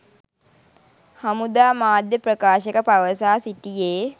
හමුදා මාධ්‍ය ප්‍රකාශක පවසා සිටියේ